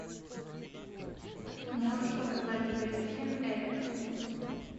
можешь показать вест хэм эвертон